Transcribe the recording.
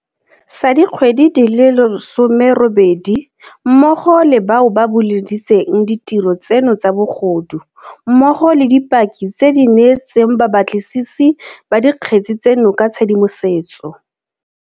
Sa dikgwedi di le 18, mmogo le bao ba buleditseng ditiro tseno tsa bogodu mmogo le dipaki tse di neetseng babatlisisi ba dikgetse tseno ka tshedimosetso.